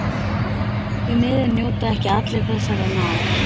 Því miður njóta ekki allir þessarar náðar.